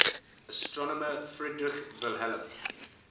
astronomer friedrich wilhelm